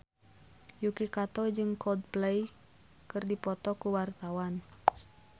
Yuki Kato jeung Coldplay keur dipoto ku wartawan